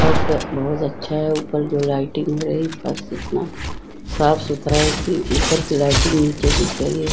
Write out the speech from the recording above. फर्श सब बहुत अच्छा है ऊपर जो लाइटिंग है इतना साफ सुथरा है कि ऊपर की लाइटिंग नीचे दिख रही है ।